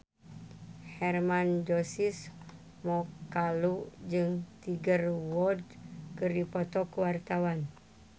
Hermann Josis Mokalu jeung Tiger Wood keur dipoto ku wartawan